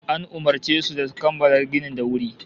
An umurce su da su kammala ginin da wuri